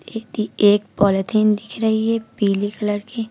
एक पॉलिथीन दिख रही है पीली कलर की।